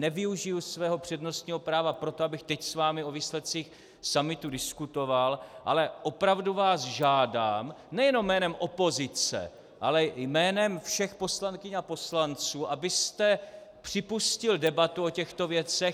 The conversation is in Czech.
Nevyužiji svého přednostního práva proto, abych teď s vámi o výsledcích summitu diskutoval, ale opravdu vás žádám nejenom jménem opozice, ale jménem všech poslankyň a poslanců, abyste připustil debatu o těchto věcech.